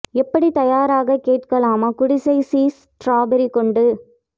எப்படி தயாராக கேட்கலாமா குடிசை சீஸ் ஸ்ட்ராபெர்ரி கொண்டு